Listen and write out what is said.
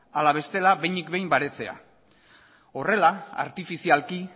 hala bestela behinik behin baretzea horrela artifizialki